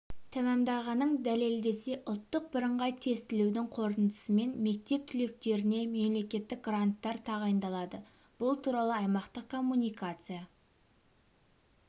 тәмамдағанын дәлелдесе ұлттық бірыңғай тестілеудің қорытындысымен мектеп түлектеріне мемлекеттік гранттар тағайындалады бұл туралы аймақтық коммуникация